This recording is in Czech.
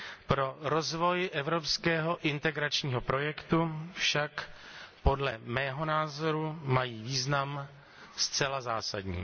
Pro rozvoj evropského integračního projektu však, podle mého názoru, mají význam zcela zásadní.